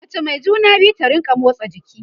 mace Mai juna biyu ta rinka motsa jiki